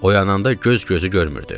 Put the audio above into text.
Oyananda göz-gözü görmürdü.